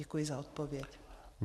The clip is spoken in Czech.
Děkuji za odpověď.